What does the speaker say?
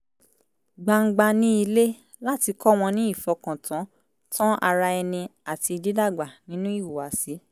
gbangba ní ilé láti kọ́ wọn ní ìfọkàn tán tán ara ẹni àti dídàgbà ninú ìhùwàsí